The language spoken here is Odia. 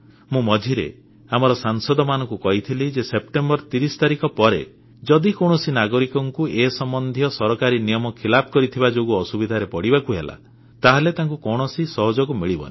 ମୁଁ ମଝିରେ ଆମର ସାଂସଦମାନଙ୍କୁ କହିଥିଲି ଯେ ସେପ୍ଟେମ୍ବର 30 ତାରିଖ ପରେ ଯଦି କୌଣସି ନାଗରିକଙ୍କୁ ଏ ସମ୍ବନ୍ଧୀୟ ସରକାରୀ ନିୟମ ଖିଲାପ କରିଥିବା ଯୋଗୁଁ ଅସୁବିଧାରେ ପଡ଼ିବାକୁ ହେଲା ତାହେଲେ ତାଙ୍କୁ କୌଣସି ସହଯୋଗ ମିଳବନି